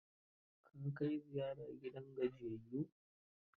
Ka kai ziyara gidan gajiyayyu.